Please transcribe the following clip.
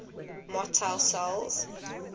motile cells